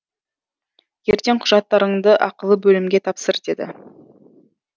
ертең құжаттарыңды ақылы бөлімге тапсыр деді